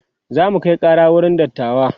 zamu Kai Kara wurin dattawa